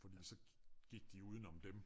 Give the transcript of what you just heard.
Men altså gik de uden om dem